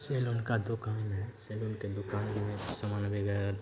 salon का दुकान है सैलून के दुकान में समान वगैरह --